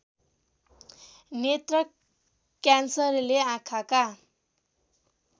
नेत्र क्यान्सरले आँखाका